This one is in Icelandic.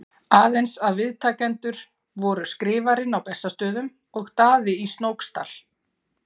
Aðeins að viðtakendur voru Skrifarinn á Bessastöðum og Daði í Snóksdal.